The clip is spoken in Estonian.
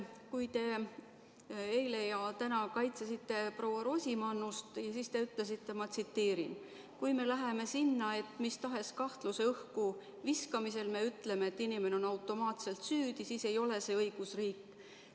Kui te eile ja täna kaitsesite proua Rosimannust, siis te ütlesite, et kui me läheme sinnani, et mis tahes kahtluse õhku viskamisel me ütleme, et inimene on automaatselt süüdi, siis ei ole see õigusriik.